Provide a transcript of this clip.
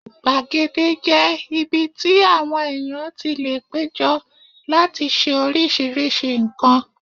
Gbàgede jẹ́ ibi tí àwọn èèyàn tí lè péjọ láti ṣe oríṣiríṣi nǹkan